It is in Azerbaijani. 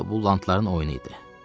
o da bu lantların oyunu idi.